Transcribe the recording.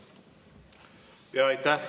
Aitäh!